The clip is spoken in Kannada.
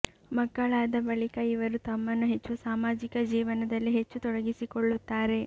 ಮಕ್ಕಳಾದ ಬಳಿಕ ಇವರು ತಮ್ಮನ್ನು ಹೆಚ್ಚು ಸಾಮಾಜಿಕ ಜೀವನದಲ್ಲಿ ಹೆಚ್ಚು ತೊಡಗಿಸಿಕೊಳ್ಳುತ್ತಾರೆ